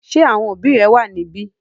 Ṣé àwọn òbí rẹ wà níbí?